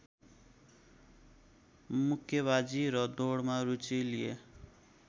मुक्केबाजी र दौडमा रूचि लिए